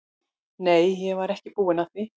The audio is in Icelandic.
Nei, ég var ekki búin að því.